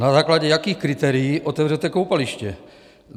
Na základě jakých kritérií otevřete koupaliště?